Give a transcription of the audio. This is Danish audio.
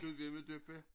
Gudjimmadøppa